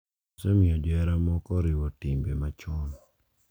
Osemiyo johera moko oriwo timbe machon